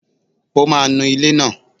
Ó máa nu ilé náà